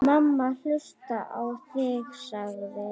Mamma hlustar á þig, sagði